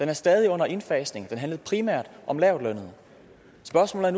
er stadig under indfasning den handlede primært om lavtlønnede spørgsmålet